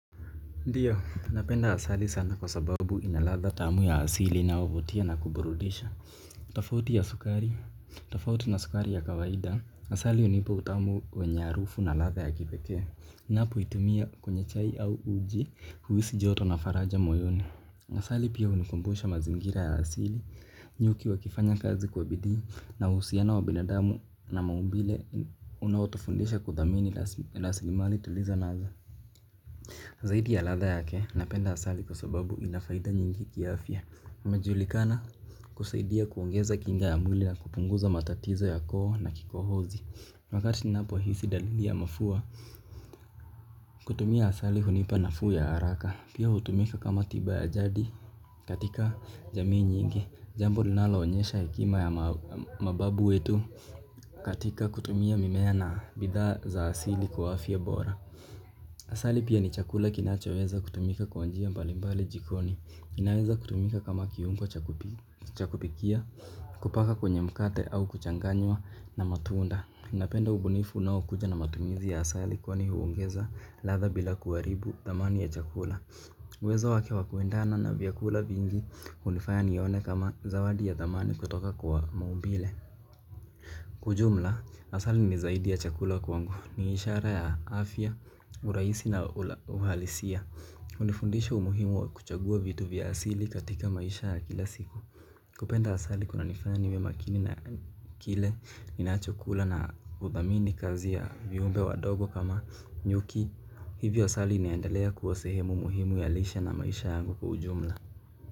Ndiyo, napenda asali sana kwa sababu inaladha tamu ya asili na inayovutia na kuburudisha. Tofauti ya sukari, tofauti na sukari ya kawaida asali hunipa utamu wenye harufu na ladha ya kipekee. Napoitumia kwenye chai au uji huisi joto na faraja moyoni. Asali pia hunikumbusha mazingira ya asili, nyuki wakifanya kazi kwa bidii. Na uhusiano wa binadamu na maumbile unautu fundisha kudhamini rasilimali tulizonazo. Zaidi ya ladha yake, napenda asali kwa sababu inafaida nyingi kiafya. Unajulikana kusaidia kuongeza kinga ya mwili ya kupunguza matatizo ya koo na kikohozi. Wakati ninapohisi dalili ya mafua, kutumia asali hunipa nafuu ya haraka. Pia hutumika kama tiba ya jadi katika jamii nyingi. Jambo linalo onyesha hekima ya mababu wetu katika kutumia mimea na bidha za asili kwa afya bora. Asali pia ni chakula kinachoweza kutumika kwanjia mbalimbali jikoni. Kinaweza kutumika kama kiungo chakupikia, kupaka kwenye mkate au kuchanganywa na matunda. Napenda ubunifu unaokuja na matumizi ya asali kwani huongeza ladha bila kuharibu thamani ya chakula. Uwezo wake wa kuendana na vyakula vingi hunifaya nione kama zawadi ya thamani kutoka kwa maumbile. Kwa ujumla, asali ni zaidi ya chakula kwangu ni ishara ya afya, urahisi na uhalisia hunifundisha umuhimu wa kuchagua vitu vya asili katika maisha ya kila siku. Kupenda asali kuna nifanya niwe makini na kile ninacho chakula na udhamini kazi ya viumbe wadogo kama nyuki. Hivyo asali inaendelea kuwa sehemu muhimu ya lisha na maisha yangu kwa ujumla.